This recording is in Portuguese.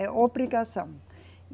É obrigação.